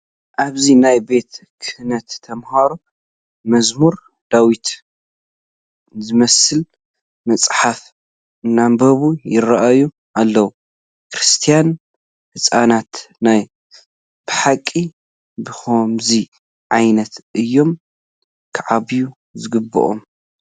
ኣብዚ ናይ ቤተ ክህነት ተመሃሮ መዝሙረ ዳዊት ዝመስል መፅሓፍ እናንበቡ ይርአዩ ኣለዉ፡፡ ክርስቲያን ህፃናት ናይ ብሓቂ ብኸምዚ ዓይነት እዮም ክዓብዩ ዝግብኦም፡፡